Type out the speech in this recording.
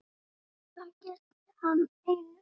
Það gilti hann einu.